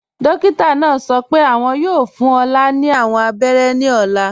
Dókítà náà sọ́ pẹ́ awọn yóò fún Olá ni awọn àbẹ̀rẹ̀ ní ọ̀là.